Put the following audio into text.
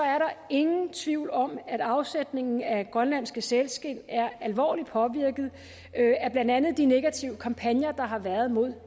ingen tvivl om at afsætningen af grønlandske sælskind er alvorligt påvirket af blandt andet de negative kampagner der har været mod